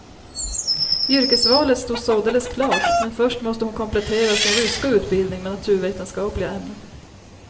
Yrkesvalet stod således klart, men först måste hon komplettera sin ryska utbildning med naturvetenskapliga ämnen.